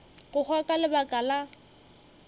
go hwa ka lebaka la